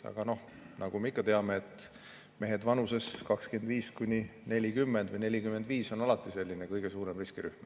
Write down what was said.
Aga nagu me teame, mehed vanuses 25–40, isegi kuni 45 on alati kõige suurem riskirühm.